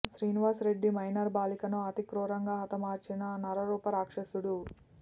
Srinivas Reddy minor బాలికలను అతి క్రూరంగా హతమార్చిన నరరూప రాక్షసుడు